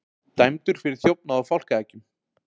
Dæmdur fyrir þjófnað á fálkaeggjum